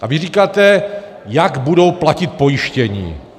A vy říkáte, jak budou platit pojištění?